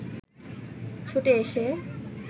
ছুটে এসে